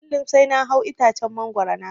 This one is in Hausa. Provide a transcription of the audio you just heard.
Kullum sai na hau itacen mangoro na ciro.